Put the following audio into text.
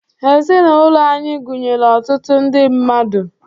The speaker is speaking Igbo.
Ezinụlọ anyị gụnyere ọtụtụ ndị mmadụ.